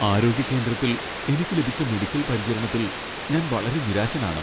ആരോഗ്യ കേന്ദ്രത്തിൽ എനിക്ക് ലഭിച്ച മെഡിക്കൽ പരിചരണത്തിൽ ഞാൻ വളരെ നിരാശനാണ്.